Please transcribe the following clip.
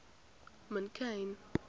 mongane